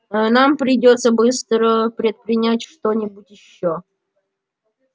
нам придётся быстро предпринять что-нибудь ещё